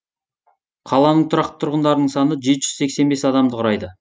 қаланың тұрақты тұрғындарының саны жеті жүз сексен бес адамды құрайды